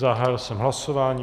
Zahájil jsem hlasování.